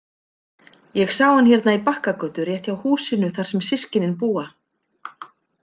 Ég sá hann hérna í Bakkagötu, rétt hjá húsinu þar sem systkinin búa.